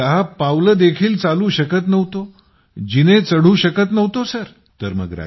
मी तर दहा पावलं देखील चालू शकत नव्हतो जिने चढू शकत नव्हतो सर